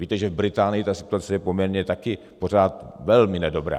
Víte, že v Británii ta situace je poměrně také pořád velmi nedobrá.